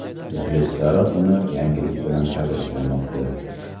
Muxlislari uni yangilik bilan tabriklamoqda.